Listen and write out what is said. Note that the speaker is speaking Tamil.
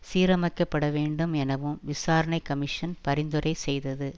சீரமைக்கப்பட வேண்டும் எனவும் விசாரணை கமிஷன் பரிந்துரை செய்தது